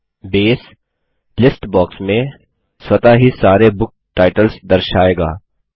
अब base list box में स्वतः ही सारे बुक टाइटल्स दर्शाएगा